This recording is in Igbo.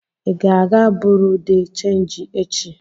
Ị ga-aga Buruu de chenji echi?